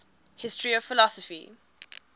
history of philosophy